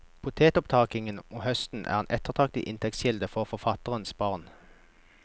Potetopptakingen om høsten er en ettertraktet inntektskilde for forfatterens barn.